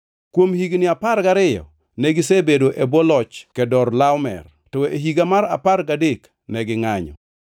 Kuom higni apar gariyo negisebedo e bwo loch Kedorlaomer, to e higa mar apar gadek ne gingʼanyo.